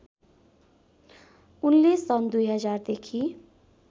उनले सन् २००० देखि